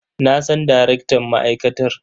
Na san darektan ma'aikatar.